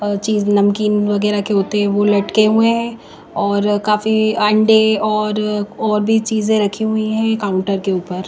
और चीज नमकीन वगैरह के होते हैं वो लटके हुए हैं काफी अंडे और और भी चीजें रखे हुए हैं एक काउंटर के ऊपर--